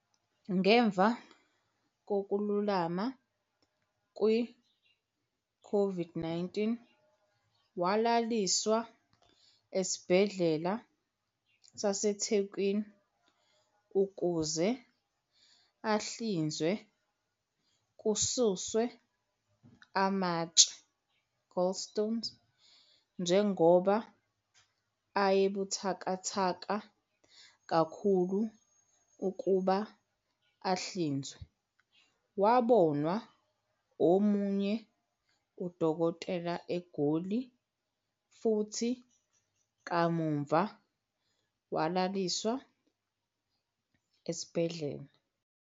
Ngemva kokululama ku-COVID-19, walaliswa esibhedlela saseThekwini ukuze ahlinzwe kususwe amatshe, gallstone. Njengoba ayebuthakathaka kakhulu ukuba ahlinzwe, wabona omunye udokotela eGoli, futhi kamuva walaliswa esibhedlela.